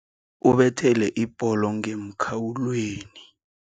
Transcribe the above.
Ubethele ibholo ngemkhawulweni.